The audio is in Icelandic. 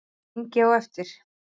Hringi á eftir